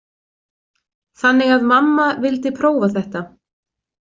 Þannig að mamma vildi prófa þetta.